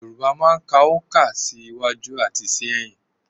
Yorùbá máa ń ka oǹkà sí iwájú àti sí ẹ̀yìn